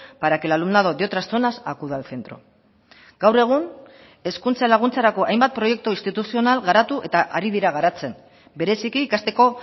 para que el alumnado de otras zonas acuda al centro gaur egun hezkuntza laguntzarako hainbat proiektu instituzional garatu eta ari dira garatzen bereziki ikasteko